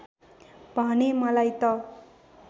भने मलाई त